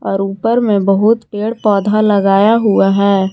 और ऊपर में बहुत पेड़ पौधा लगाया हुआ है।